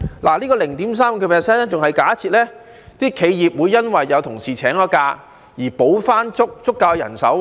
這 0.35% 更已假設企業會因有同事請假而要補回足夠人手。